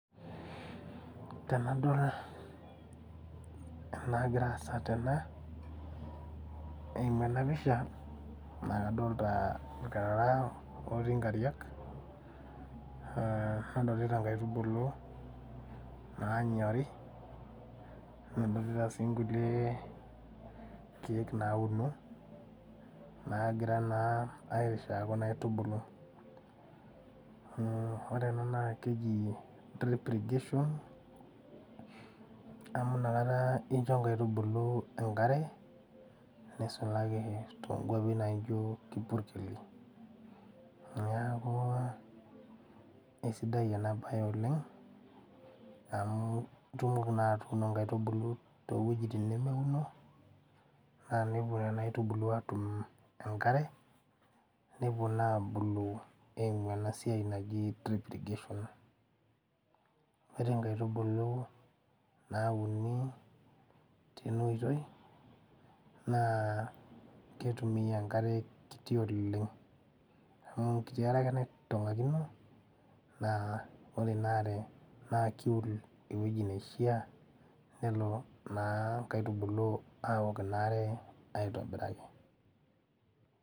Tenadol enagira aasa tena eimu ena pisha naa kadolta irkarara otii inkariak uh nadolita inkaitubulu naanyori nadolita sii nkulie keek nauno naagira naa airishaa kuna aitubulu mh ore ena naa keji drip irrigation amu inakata incho inkaitubulu enkare nisulaki tonkuapi naijio kipurkeli niaku eisidai ena baye oleng amu itumoki naa atuuno inkaitubulu towuejitin nemeuno naa nepuo nena aitubulu atum enkare nepuo naa abulu eimu ena siai naji drip irrigation ore inkaitubulu nauni tena oitoi naa ketumia enkare kiti oleng amu enkiti are ake naitong'akino naa ore ina are naa kiul ewuieji neishia nelo naa inkaitubulu awok ina are aitobiraki.